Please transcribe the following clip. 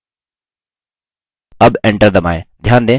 अब enter दबाएँ